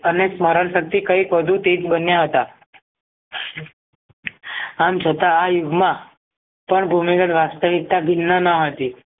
અનેક મરણ શક્તિ કૈક વધુ તેજ બન્યા હતા આમ છતાં આ યુગમાં પણ ભૂમિ ગત વાસ્તવિકતા ભિન્ન ન હતી